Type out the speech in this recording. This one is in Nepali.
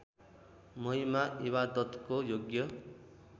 महिमा इबादतको योग्य